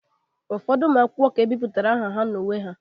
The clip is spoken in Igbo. Ụfọdụ ụmụ akwụkwọ ka ebipụtara aha ha n'uwe ha